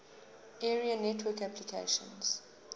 area network applications